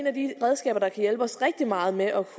af de redskaber der kan hjælpe os rigtig meget med at